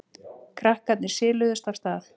Krakkarnir siluðust af stað.